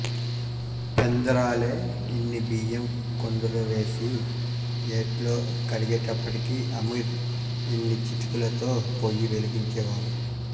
పెందరాళె ఇన్ని బియ్యం కుండలోవేసి యేట్లో కడిగేటప్పటికి అమీర్ యిన్ని చితుకులతో పొయ్యి వెలిగించేవాడు